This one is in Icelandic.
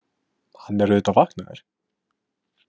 Hann er auðvitað vaknaður.